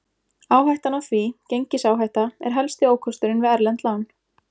Áhættan af því, gengisáhætta, er helsti ókosturinn við erlend lán.